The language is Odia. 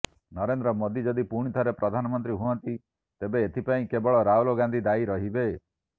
ନରେନ୍ଦ୍ର ମୋଦି ଯଦି ପୁଣିଥରେ ପ୍ରଧାନମନ୍ତ୍ରୀ ହୁଅନ୍ତି ତେବେ ଏଥିପାଇଁ କେବଳ ରାହୁଲ ଗାନ୍ଧି ଦାୟୀ ରହିବେ